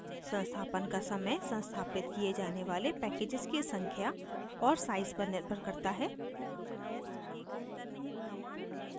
संस्थापन का समय संस्थापित किये जाने वाले packages की संख्या और size पर निर्भर करता है